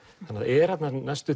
þannig það er þarna næstum